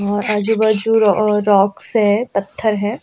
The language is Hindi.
और आजू-बाजू रॉक्स है पत्थर है।